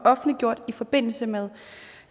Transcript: offentliggjort i forbindelse med